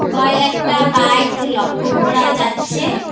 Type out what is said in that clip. কয়েকটা বাইক লক্ষ্য করা যাচ্ছে।